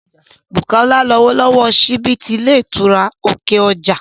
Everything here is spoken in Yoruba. Bùkọ́lá ni ọlọ́wọ́ síbí ti ilé ìtura ti òkè ọjà